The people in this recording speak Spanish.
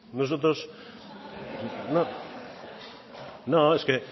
nosotros no es que